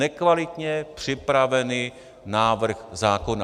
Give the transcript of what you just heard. Nekvalitně připravený návrh zákona.